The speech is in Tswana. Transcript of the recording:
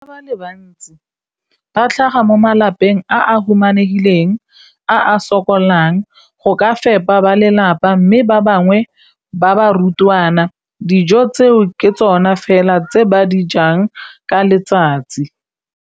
Bana ba le bantsi ba tlhaga mo malapeng a a humanegileng a a sokolang go ka fepa ba lelapa mme ba bangwe ba barutwana, dijo tseo ke tsona fela tse ba di jang ka letsatsi.